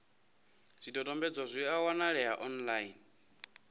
zwidodombedzwa zwi a wanalea online